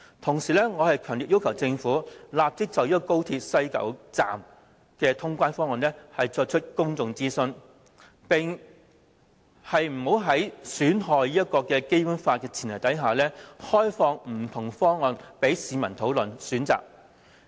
同時，我強烈要求政府立即就高鐵西九龍站的通關方案進行公眾諮詢，並在不損害《基本法》的前提下，開放不同方案供市民討論和選擇。